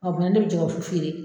ni ne bɛ jɛgɛ wusu feere